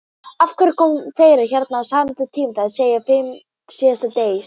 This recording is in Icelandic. Af hverju koma þeir hérna á sama tíma, það er að segja fimm síðdegis?